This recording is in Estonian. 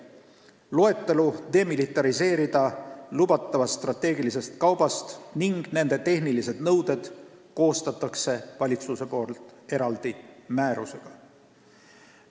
Loetelu strateegilisest kaubast, mida lubatakse demilitariseerida, ning tehnilised nõuded koostab valitsus eraldi määrusega.